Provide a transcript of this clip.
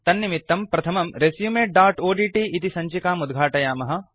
तन्निमित्तम् प्रथमं resumeओड्ट् इति सञ्चिकाम् उद्घाटयामः